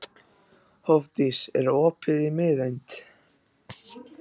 Hofdís, er opið í Miðeind?